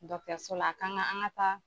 Dɔkitɛriso la a kan ka an ka taa